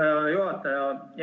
Aitäh, härra juhataja!